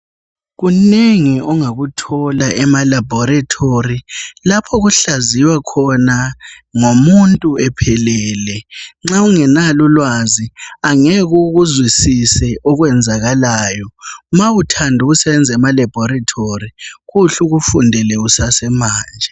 Kunengi ongakuthola ema laboratory lapho kuhlaziwa khona ngomuntu ephelele. Nxa ungelalo ulwazi angeke ukuzwisise okwenzakalayo. Ma uthanda ukusebenza ema laboratory kuhle ukufundele kusase manje.